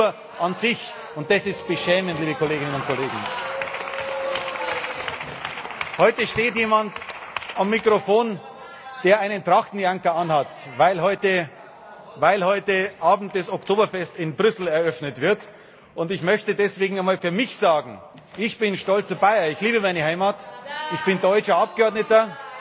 Sie glauben nur an sich, und dass ist beschämend, liebe Kolleginnen und Kollegen! Heute steht jemand am Mikrofon, der einen Trachtenjanker anhat, weil heute Abend das Oktoberfest in Brüssel eröffnet wird, und ich möchte deswegen einmal für mich sagen Ich bin stolzer Bayer, ich liebe meine Heimat. Ich bin deutscher Abgeordneter